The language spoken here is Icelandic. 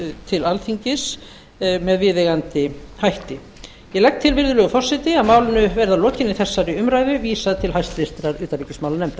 til alþingis með viðeigandi hætti ég legg til virðulegur forseti að málinu verði að lokinni þessari umræðu vísað til hæstvirtrar utanríkismálanefndar